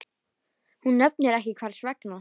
Hún nefnir ekki hvers vegna.